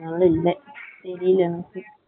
இல்லை இல்ல இல்ல வெயில் இருக்கு இருக்கு இருக்கு.